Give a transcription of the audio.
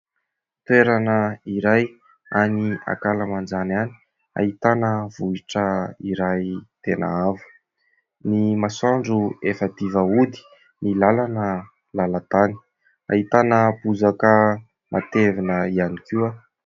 Toerana iray any ankalamanjana any ahitana vohitra iray tena avo, ny masoandro efa madiva hody ny lalana lalantany, ahitana bozaka matevina ihany koa.